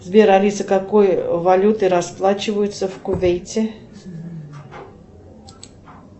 сбер алиса какой валютой расплачиваются в кувейте